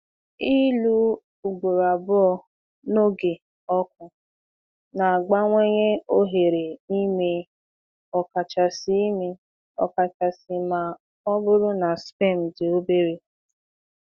Ịlụ ugboro abụọ n’oge ọkụ na-abawanye ohere ime, ọkachasị ime, ọkachasị ma ọ bụrụ na sperm dị obere